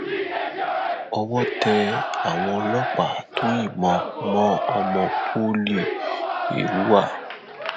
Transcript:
owó tẹ àwọn ọlọpàáà tó yìnbọn mọ ọmọ poli èrúwà